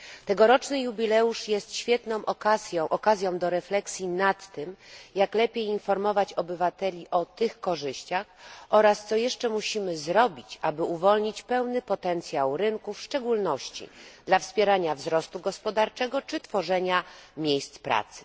Tegoroczny jubileusz jest świetną okazją do refleksji nad tym, jak lepiej informować obywateli o tych korzyściach oraz co jeszcze musimy zrobić, aby uwolnić pełny potencjał rynku, w szczególności dla wspierania wzrostu gospodarczego czy tworzenia nowych miejsc pracy.